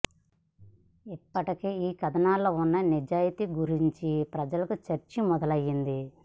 ఇప్పటికే ఆ కథనాల్లో ఉన్న నిజాయితీ గురించి ప్రజలు చర్చ మొదలయ్యింది